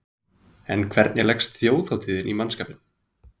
En hvernig leggst þjóðhátíðin í mannskapinn?